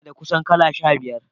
Ina da kusan kala shari'ar.